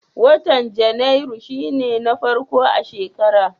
Watan Janairu shi ne na farko a shekara.